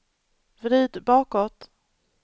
vrid bakåt